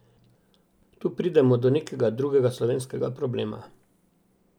Tu pridemo do nekega drugega slovenskega problema.